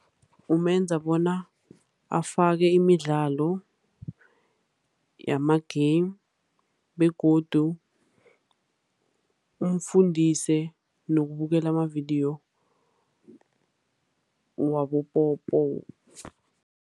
Kumenza bona afake imidlalo yama-game, begodu umfundise nokubukela amavidiyo wabopopayi